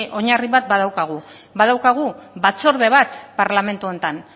oinarri bat badaukagu badaukagu batzorde bat parlamentu honetan